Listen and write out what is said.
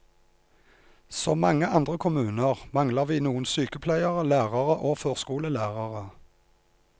Som mange andre kommuner mangler vi noen sykepleiere, lærere og førskolelærere.